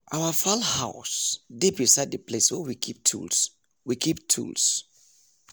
our fowl house dey beside the place wey we keep tools. we keep tools.